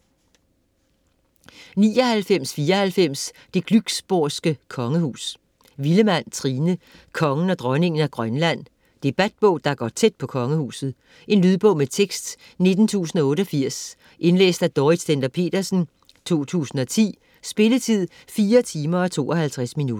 99.94 Det Glücksborgske Kongehus Villemann, Trine: Kongen og Dronningen af Grønland Debatbog der går tæt på Kongehuset. Lydbog med tekst 19088 Indlæst af Dorrit Stender-Petersen, 2010. Spilletid: 4 timer, 52 minutter.